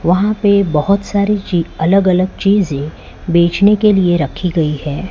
वहां पे बहोत सारी ये अलग अलग चीजें बेचने के लिए रखी गई है।